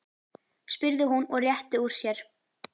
spurði hún og rétti úr sér.